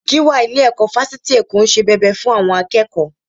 Gíwá ilé-ẹ̀kọ́ Fásitì Èkó ń ṣe bẹbẹ fún àwọn akẹ́kọ̀ọ́